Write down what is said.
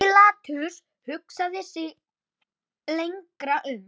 Pílatus hugsaði sig lengi um.